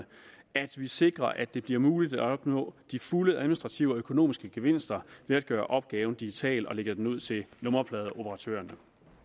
at vi sikrer at det bliver muligt at opnå de fulde administrative og økonomiske gevinster ved at gøre opgaven digital og lægge den ud til nummerpladeoperatørerne